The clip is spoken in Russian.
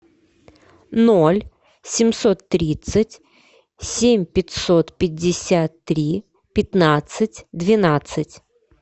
ноль семьсот тридцать семь пятьсот пятьдесят три пятнадцать двенадцать